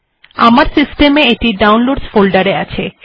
আমার সিস্টেম এ এটি ডাউনলোডসহ ফোল্ডার এ আছে